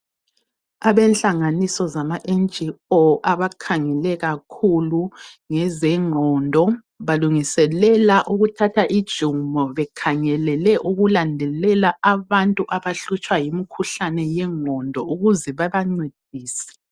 Abenhlanganiso Zama NGO abakhangele kakhulu ngezengqondo balungiselela ukuthatha ijumo bekhangelele ukulandelela abantu abahlutshwa yimikhuhlane yengqondo ukuze bebancedise